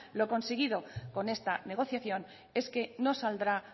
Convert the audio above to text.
lo conseguido con esta negociación es que no saldrá